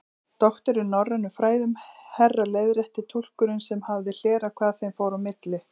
Doktor í norrænum fræðum, herra leiðrétti túlkurinn sem hafði hlerað hvað þeim fór á milli.